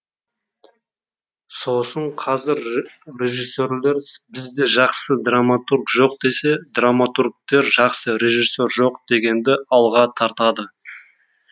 сосын қазір режиссерлер бізде жақсы драматург жоқ десе драматургтер жақсы режиссер жоқ дегенді алға тартады